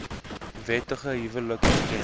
wettige huwelike erken